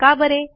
कां बरे